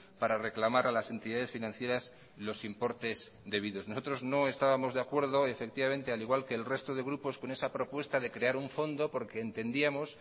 para reclamar a las entidades financieras los importes debidos nosotros no estábamos de acuerdo efectivamente al igual que el resto de grupos con esa propuesta de crear un fondo porque entendíamos